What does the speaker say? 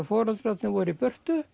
foreldrarnir voru í burtu